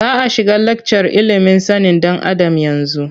Za a shiga lakcar ilimin sanin ɗan Adam yanzu.